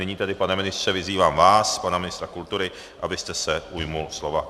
Nyní tedy, pane ministře, vyzývám vás, pana ministra kultury, abyste se ujal slova.